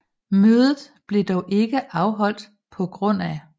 Mødet blev dog ikke afholdt pga